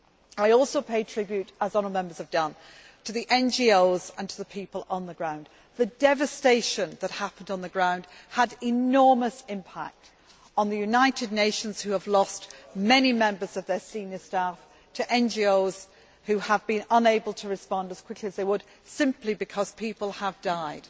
I also pay tribute, as honourable Members have done, to the NGOs and to the people on the ground. The devastation that happened on the ground had enormous impact on the United Nations, which has lost many members of their senior staff, and on NGOs, which have been unable to respond as quickly as they would simply because people of theirs have died.